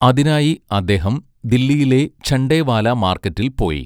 അതിനായി അദ്ദേഹം ദില്ലിയിലെ ഝണ്ടേവാലാ മാർക്കറ്റിൽ പോയി.